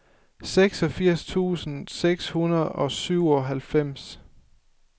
seksogfirs tusind seks hundrede og syvoghalvfems